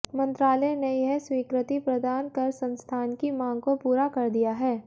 मंत्रालय ने यह स्वीकृति प्रदान कर संस्थान की मांग को पूरा कर दिया है